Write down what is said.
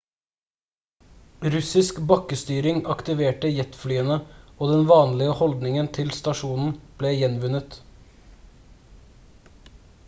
russisk bakkestyring aktiverte jetflyene og den vanlige holdningen til stasjonen ble gjenvunnet